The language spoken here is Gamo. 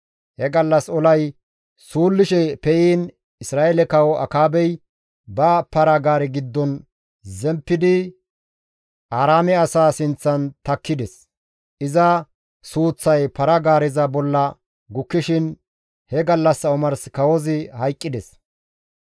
He gallas olay suullishe pe7iin Isra7eele kawo Akaabey ba para-gaare giddon zemppidi Aaraame asaa sinththan takkides. Iza suuththay para-gaareza bolla gukkishin he gallassa omars kawozi hayqqides.